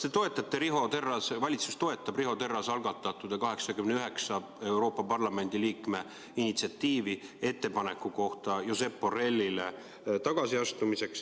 Teiseks, kas valitsus toetab Riho Terrase algatatud 81 Euroopa Parlamendi liikme initsiatiivi teha Josep Borrellile ettepanek tagasi astuda?